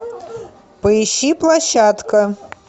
поищи площадка